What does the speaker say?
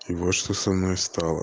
вот что со мной стало